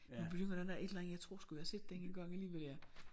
Nu bringer den der et eller andet jeg tror sgu jeg har set den engang alligevel ja